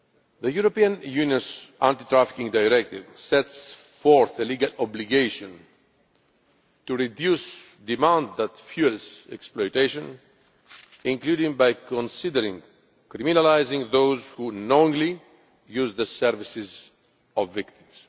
The European Union's Anti trafficking Directive sets forth the legal obligation to reduce the demand that fuels exploitation, including by considering criminalising those who knowingly use the services of victims.